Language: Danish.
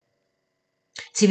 TV 2